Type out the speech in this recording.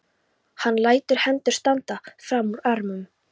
Hann lætur hendur standa fram úr ermum.